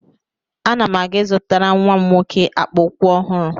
Ana m aga ị zụtara nwa m nwoke akpa ụkwụ ọhụrụ.